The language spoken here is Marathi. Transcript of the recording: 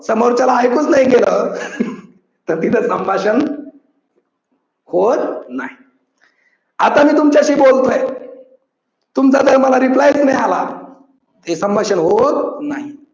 समोरच्याला ऐकूच नाही गेलं तर तिथ संभाषण होत नाही आता मी तुमच्याशी बोलतो आहे तुमचा जर मला reply च नाही आला ते संभाषण होत नाही.